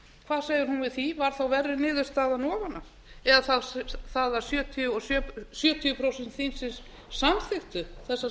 hvað segir hún við því var þá verri niðurstaðan ofan á eða það að sjötíu prósent þingsins samþykktu þessa